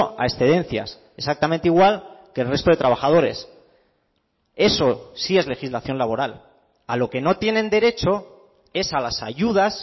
a excedencias exactamente igual que el resto de trabajadores eso sí es legislación laboral a lo que no tienen derecho es a las ayudas